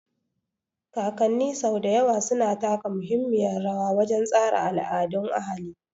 Kakanni sau da yawa suna taka muhimmiyar rawa wajen tsara al'adun ahali.